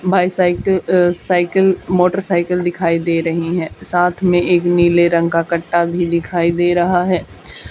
Bicycle अ cycle motor cycle दिखाई दे रही है साथ में एक नीले रंग का कट्टा भी दिखाई दे रहा है।